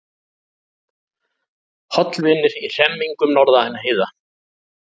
Hollvinir í hremmingum norðan heiða